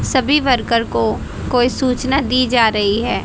सभी वर्कर को कोई सूचना दी जा रही है।